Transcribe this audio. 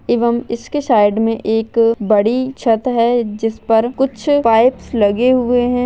एव म इसके साइड मे एक बड़ी छत है जिस पर कुछ पाइप्स लगे हुए है।